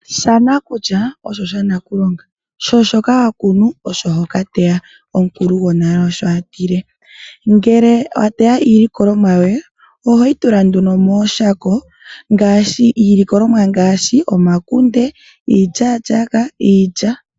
Shanakulya osho shanakulonga, sho shoka hokunu osho hokateya gwonale Osho atile. Ngele wateya iilikolomwa yoye ohoyi tula nduno mooshako ngaashi omakunde , omapungu , iilyaalyaaka nayilwe.